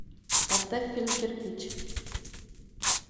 поставь фильм кирпич